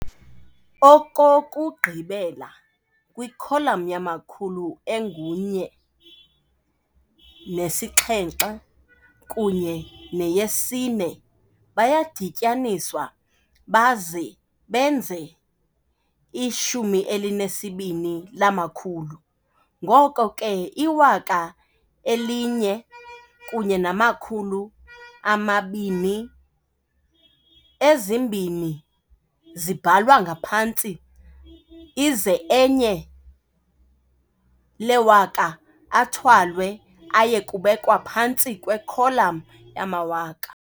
Okokugqibela, kwikholam yamakhulu engu 1, 7 kunye no-4 bayadityaniswa baze benze i-12 lamakhulu, ngoko ke iwaka eli-1 kunye namakhulu ama-2, u-2 ubhalwa ngaphantsi aze u-1 lewaka athwalwe aye kubekwa phantsi kwekholam yamawaka.